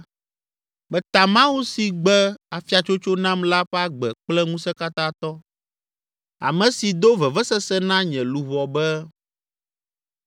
“Meta Mawu si gbe afiatsotso nam la ƒe agbe kple Ŋusẽkatãtɔ, ame si do vevesese na nye luʋɔ be,